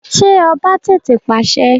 Ṣé ọba tètè pàṣẹ?